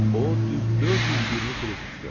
O düz 420 fritixdır.